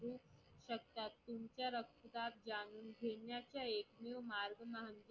तुमच्या रक्तदाब जाणून घेण्याचा एकमेव मार्ग म्हणजे